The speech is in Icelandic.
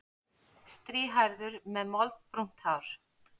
Strýhærður með moldbrúnt hár.